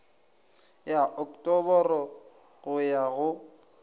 ya oktoboro go ya go